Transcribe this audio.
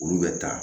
Olu bɛ taa